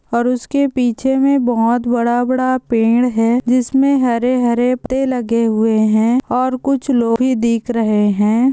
और उसके पीछे ही बहुत बड़ा-बड़ा पेड़ है जिसमे हरे-हरे पत्ते लगे हुए है और कुछ लोग ही दिख रहे है।